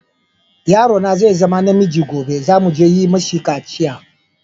Yaro na zai zama na miji gobe, za mu je yi mishi kaciya.